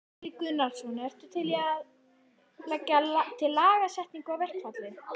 Gunnar Atli Gunnarsson: Ertu að leggja til lagasetningu á verkfallið?